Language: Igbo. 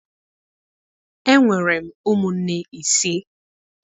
Enwere m ụmụnne ise.